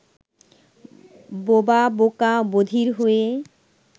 বোবা বোকা বধির হয়ে